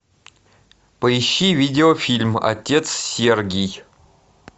поищи видеофильм отец сергий